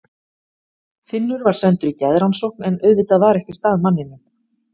Finnur var sendur í geðrannsókn, en auðvitað var ekkert að manninum.